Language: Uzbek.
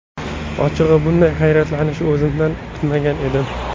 Ochig‘i, bunday hayratlanishni o‘zimdan kutmagan edim.